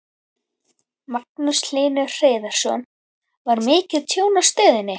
Magnús Hlynur Hreiðarsson: Var mikið tjón í stöðinni?